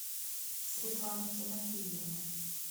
светлану тимофеевну